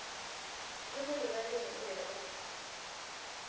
le molebaleng o be o